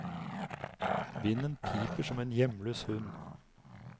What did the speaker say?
Vinden piper som en hjemløs hund.